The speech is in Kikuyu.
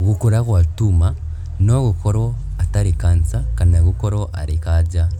Gũkũra gwa tuma no gũkorwo atarĩ kanca kana gũkorwo arĩ kanja